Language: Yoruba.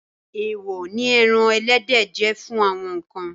Èèwọ̀ ni ẹran ẹlẹ́dẹ̀ jẹ́ fún àwọn kan.